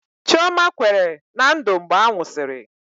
Chioma kwere na Ndụ mgbe a nwụsịrị